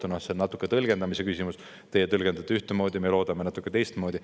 No see on küll natuke tõlgendamise küsimus – teie tõlgendate ühtemoodi, me loodame natuke teistmoodi.